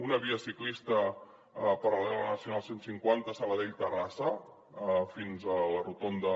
una via ciclista paral·lela a la nacional cent i cinquanta sabadell terrassa fins a la rotonda